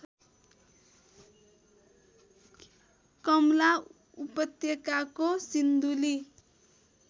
कमला उपत्यकाको सिन्धुली